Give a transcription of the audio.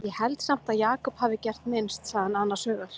Ég held samt að Jakob hafi gert minnst, sagði hann annars hugar.